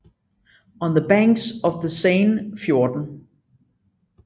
On the Banks of the Seine 14